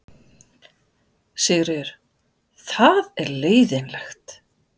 Sigríður: Það er leiðinlegt?